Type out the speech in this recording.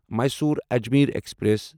Mysore Ajmer express